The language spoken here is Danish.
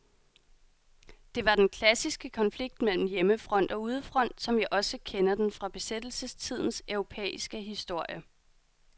Det var den klassiske konflikt mellem hjemmefront og udefront, som vi også kender den fra besættelsestidens europæiske historie.